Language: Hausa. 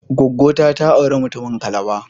gwaggo ta, ta auri mutumin Calabar